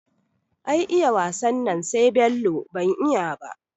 Ai iya wasan nan sai Bello, ban iya ba